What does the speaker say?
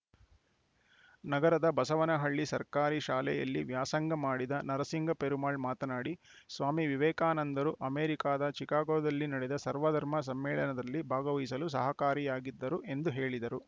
ನಗರದ ಬಸವನಹಳ್ಳಿ ಸರ್ಕಾರಿ ಶಾಲೆಯಲ್ಲಿ ವ್ಯಾಸಂಗ ಮಾಡಿದ ನರಸಿಂಗ ಪೆರುಮಾಳ್‌ ಮಾತನಾಡಿ ಸ್ವಾಮಿ ವಿವೇಕಾನಂದರು ಅಮೇರಿಕಾದ ಚಿಕಾಗೋದಲ್ಲಿ ನಡೆದ ಸರ್ವ ಧರ್ಮ ಸಮ್ಮೇಳನದಲ್ಲಿ ಭಾಗವಹಿಸಲು ಸಹಕಾರಿಯಾಗಿದ್ದರು ಎಂದು ಹೇಳಿದರು